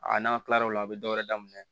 A n'an tilal'o la u bɛ dɔ wɛrɛ daminɛ